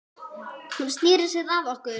Hún sneri sér að okkur